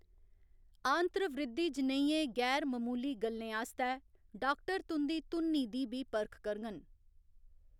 आंत्रवृद्धि जनेहियें गैर ममूली गल्लें आस्तै डाक्टर तुं'दी धुन्नी दी बी परख करङन।